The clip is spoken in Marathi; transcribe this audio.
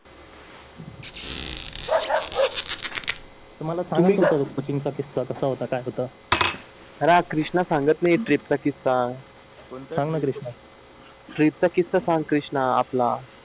तर मला सांगा तो ट्रिपचा किस्सा होता काय होता अरहा कृष्णा नाहीये ट्रीपचा किस्सा सांग ना कृष्णा ट्रीप चा किस्सा सांग कृष्णा आपला